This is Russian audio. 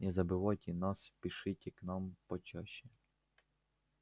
не забывайте нас и пишите к нам почаще